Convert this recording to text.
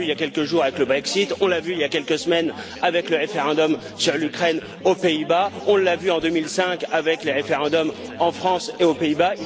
On l'a vu il y a quelques jours avec le Brexit, on l'a vu il y a quelques semaines avec le référendum sur l'Ukraine aux Pays-Bas, on l'a vu en 2005 avec les référendums en France et aux Pays-Bas.